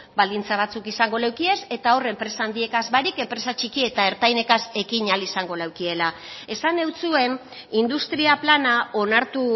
baldintzak batzuk izango leukiez eta hor enpresa handiez barik enpresak txikiek eta ertainekaz ekin ahal izango leukiela esan nentzuen industria plana onartu